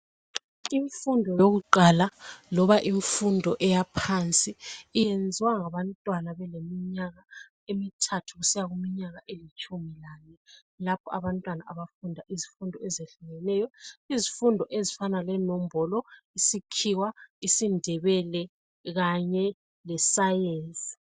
Imfundo yakuqala loba imfundo eyaphansi iyenziwa ngabantwana beleminyaka emithathu kusiya kuminyaka elitshumi lanye. Lapha abantwana abafunda izifundo ezehlukeneyo. Izifundo ezifana lenombolo, isikhiwa, isindebele kanye le science.